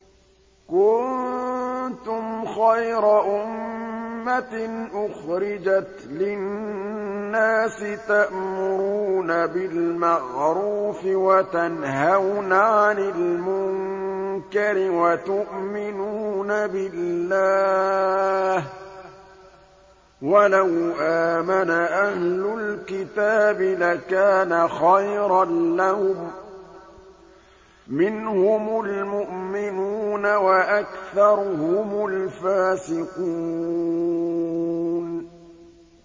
كُنتُمْ خَيْرَ أُمَّةٍ أُخْرِجَتْ لِلنَّاسِ تَأْمُرُونَ بِالْمَعْرُوفِ وَتَنْهَوْنَ عَنِ الْمُنكَرِ وَتُؤْمِنُونَ بِاللَّهِ ۗ وَلَوْ آمَنَ أَهْلُ الْكِتَابِ لَكَانَ خَيْرًا لَّهُم ۚ مِّنْهُمُ الْمُؤْمِنُونَ وَأَكْثَرُهُمُ الْفَاسِقُونَ